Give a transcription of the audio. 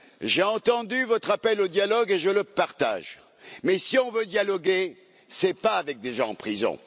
J'ai entendu votre appel au dialogue et je le partage, mais si on veut dialoguer, ce n'est pas avec des gens en prison.